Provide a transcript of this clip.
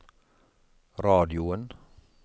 radioen